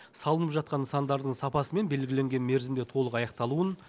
салынып жатқан нысандардың сапасы мен белгіленген мерзімде толық аяқталуын